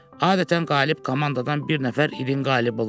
Adətən qalib komandadan bir nəfər ilin qalibi olurdu.